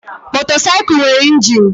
Motorcycle nwere injin.